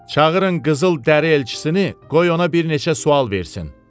Çağırın qızıl dəri elçisini, qoy ona bir neçə sual versin.